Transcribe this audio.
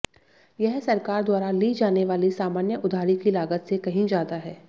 यह सरकार द्वारा ली जाने वाली सामान्य उधारी की लागत से कहीं ज्यादा है